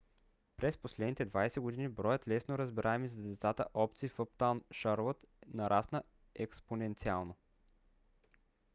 през последните 20 години броят лесно разбираеми за децата опции в uptown charlotte нарасна експоненциално